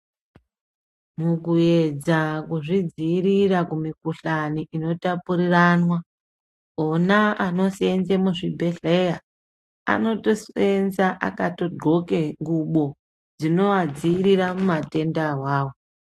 Mukuyedza kuzvidziira kumikhuhlani inotapuriranwa vona anoseenze muzvibhedhlera anotoseenza akatondxoke ngubo dzinoadziirira mumatenda awawo.